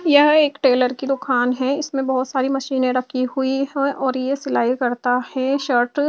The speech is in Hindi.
यह एक टेलर की दुकान है इसमे बहोत सारी मशीने रखी हुई है और ये सिलाई करता है शर्ट --